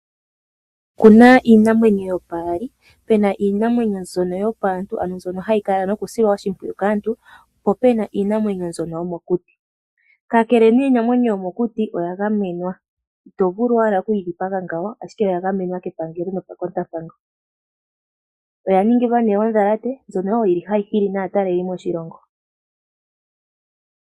Okuna iimamwenyo yopaali pena iinamwenyo mbyono yopaantu, ano mbyono ha yi silwa oshimpwiyu kaantu, po opuna iinamwenyo yomokuti, kakele nee iinamwenyo yomokuti oya gamenwa, ito vulu owala oku yi dhipaga ngawo, oya gamenwa kepangelo nokekotampango. Oya ningilwa woo odhalate ndjono ha yi hili naataleli moshilongo.